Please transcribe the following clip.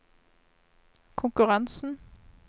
konkurransen